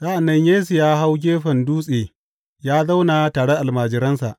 Sa’an nan Yesu ya hau gefen dutse ya zauna tare da almajiransa.